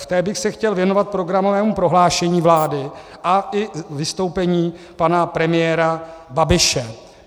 V té bych se chtěl věnovat programovému prohlášení vlády a i vystoupení pana premiéra Babiše.